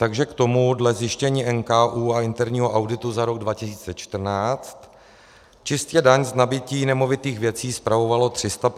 Takže k tomu dle zjištění NKÚ a interního auditu za rok 2014: čistě daň z nabytí nemovitých věcí spravovalo 359 zaměstnanců.